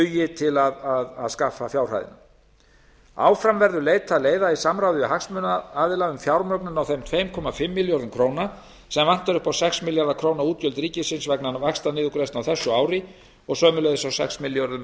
dugi til að skaffa fjárhæðina áfram verður leitað leiða í samráði við hagsmunaaðila um fjármögnun á þeim tveimur komma fimm milljörðum króna sem vantar upp á sex milljarða króna útgjöld ríkisins vegna vaxtaniðurgreiðslunnar á þessu ári og sömuleiðis á sex milljörðum